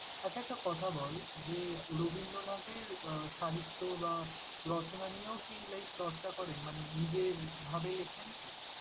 আচ্ছা একটা কথা বল যে, রবীন্দ্রনাথের আহ সাহিত্য বা রচনা নিয়েও কি like চর্চা করেন মানে নিজের ভাবে লেখেন কি?